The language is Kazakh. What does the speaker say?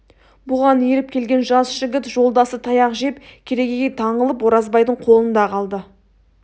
бұған еріп келген жас жігіт жолдасы таяқ жеп керегеге таңылып оразбайдың қолында қалды